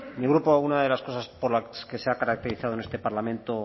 mi grupo algunas de las cosas por las que se ha caracterizado en este parlamento